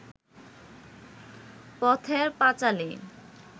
Pather Panchali